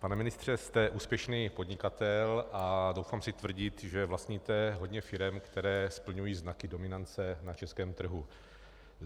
Pane ministře, jste úspěšný podnikatel a troufám si tvrdit, že vlastníte hodně firem, které splňují znaky dominance na českém trhu.